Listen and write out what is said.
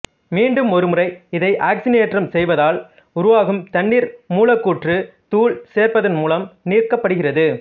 மீண்டும் ஒருமுறை இதை ஆக்சிசனேற்றம் செய்வதால் உருவாகும் தண்ணீர் மூலக்கூற்று தூள் சேர்ப்பதன் மூலம் நீக்கப்படுகிறது